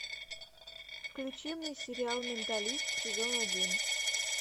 включи мне сериал менталист сезон один